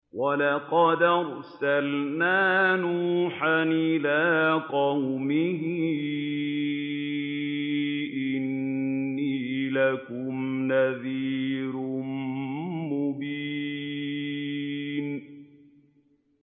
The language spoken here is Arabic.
وَلَقَدْ أَرْسَلْنَا نُوحًا إِلَىٰ قَوْمِهِ إِنِّي لَكُمْ نَذِيرٌ مُّبِينٌ